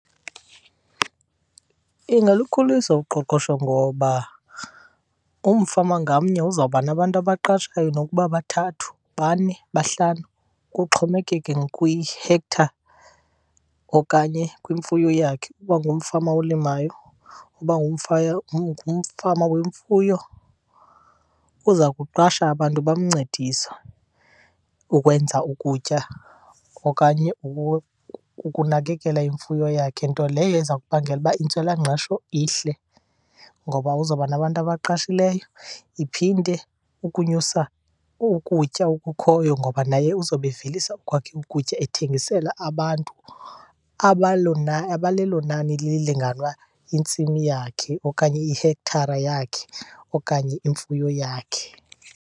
Ingalukhulisa uqoqosho ngoba umfama ngamnye uzawuba nabantu abaqashayo nokuba bathathu, bane, bahlanu kuxhomekeke kwi-hectare okanye kwimfuyo yakhe. Uba ngumfama olimayo, uba ngumfama wemfuyo uza kuqasha abantu bamncedise ukwenza ukutya okanye ukunakekela imfuyo yakhe. Nto leyo iza kubangela uba intswelangqesho ihle ngoba uzoba nabantu abaqashileyo. Iphinde, ukunyusa ukutya okukhoyo ngoba naye uzobe evelisa okwakhe ukutya ethengisela abantu abalelo nani lilinganwa yintsimi yakhe okanye ihekthara yakhe okanye imfuyo yakhe.